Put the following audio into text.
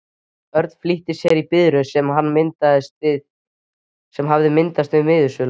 Örn flýtti sér í biðröð sem hafði myndast við miðasöluna.